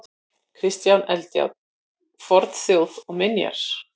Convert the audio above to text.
Kristján Eldjárn: Fornþjóð og minjar.